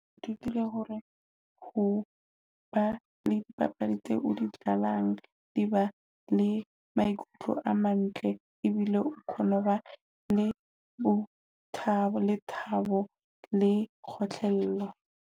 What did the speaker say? O ithutile hore ho ba le dipapadi tseo di qalang di ba le maikutlo a nantle ebile o kgone ho ba le bo thabo, le thabo le kgotlhello.